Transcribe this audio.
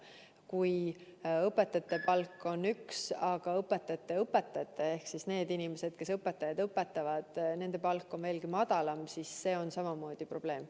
Kui õpetajate palk on üks, aga õpetajate õpetajate ehk nende inimeste palk, kes õpetajaid õpetavad, on veelgi madalam, siis see on samamoodi probleem.